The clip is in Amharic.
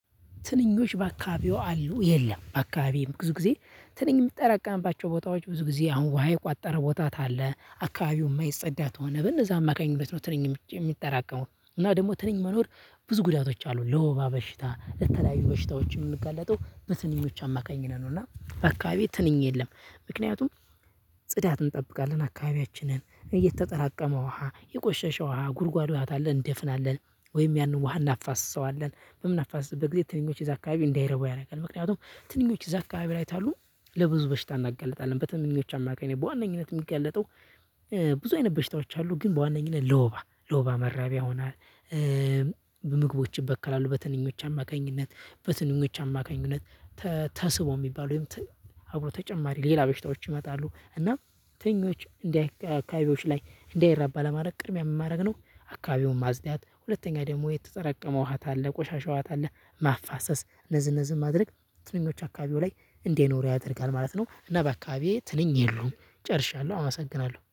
ትንኞች በአካባቢው አሉ የለም አካባቢም ብዙ ጊዜ ትንኝ የምትጠራቀምባቸው ቦታዎች ብዙ ጊዜ አሁን ውሃ የቋጠረ ቦታ ታለ አካባቢው የማይጸዳ ከሆነ በነዛ አማካኝ ነው ትንኝ የሚጠራቀመው እና ደግሞ ትንኝ መኖር ብዙ ጉዳቶች አሉን ለወባ በሽታ ለተለያዩ በሽታዎች የምንጋለጠው በትንኞች አማካኝ ነው። እና በአካባቢ ትንኝ የለም። ምክንያቱም ጽዳት እንጠብቃለን አካባቢያችንን የተጠራቀመ ውሃ የቆሸሸ ውሃ ጉድጓድ ውሃ ካለ እንደፍናለን ወይም ያንን ውሃ እናፋስሰዋለን በምናፋስስበት ጊዜ ትንኞች እዛ አካባቢ እንዳይረቡ ያደርጋል። ምክንያቱም ትንኞች እዛ አካባቢ ላይ ታሉ። ለብዙ በሽታ እናጋልጣለን በትንኞች አማካኝ በዋነኝነት የሚጋለጠው ብዙ አይነት በሽታዎች አሉ ግን በዋነኝነት ለወባ ለወባ መራቢያ ይሆናል። ምግቦች ይበከላሉ በትንኞች አማካኝነት በትንኞች አማካኝነት። ተስቦ የሚባለው ወይም ት አብሮ ተጨማሪ ሌላ በሽታዎች ይመጣሉ። እና ትንኞች እንደ አካባቢዎች ላይ እንዳይራባ ለማድረግ ቅድሚያ ምን ማድረግ ነው? አካባቢውን ማጽዳት ሁለተኛ ደግሞ የተጠራቀመ ውሃ ታለ ቆሻሻ ውሃ ታለ ማፋሰስ እነዚህ እነዚህ ማድረግ ትንኞቹ አካባቢው ላይ እንዳይኖሩ ያደርጋል ማለት ነው። እና በአካባቢዬ ትንኝ የሉም ጨርሻለሁ አመሰግናለሁ